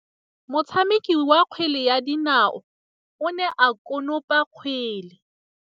Motshameki wa kgwele ya dinaô o ne a konopa kgwele.